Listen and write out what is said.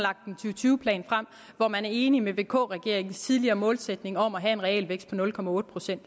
tyve plan frem hvori man er enig med vk regeringens tidligere målsætning om at have en realvækst på nul procent